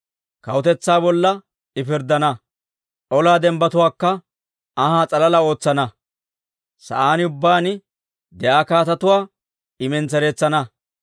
Kawutetsaa bolla I pirddana; olaa dembbatuwaakka anhaa s'alala ootsana; sa'aan ubbaan de'iyaa kaatetuwaa I mentsereetsana.